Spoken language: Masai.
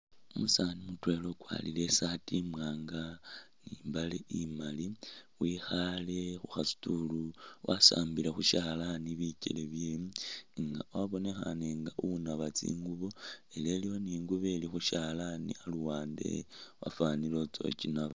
Umusani mutwela ukwarire isaati imwanga ni imbale imali wikhale khukha stool wasambile khu shalani bikyele bye nga wabonekhane nga unaba tsingubo ela iliwo ni ingubo ili khushalani aluwande wafanile utsa khukyinaba.